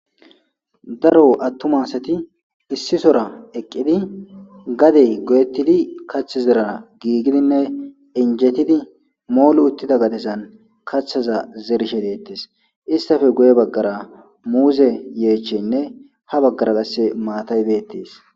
Daro attuma asti issisoea eeqiddi gadde goyettidii kaththi zerana gigidinne injittidi moolli uttida gaddezan kaththaza zerishe de'ettes istti guye baggara muuze yechcheyinne ha baggara qase maatay bettes